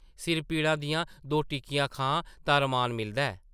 सिर पीड़ा दियां दो टिक्कियां खां तां रमान मिलदा ऐ ।